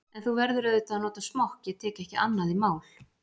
En þú verður auðvitað að nota smokk, ég tek ekki annað í mál.